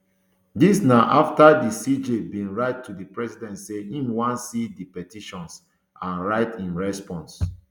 dis na afta di cj bin write to di president say im wan see di petitions and write im response